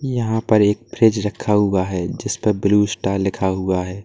यहां पर एक फ्रिज रखा हुआ है जिस पर ब्लू स्टार लिखा हुआ है।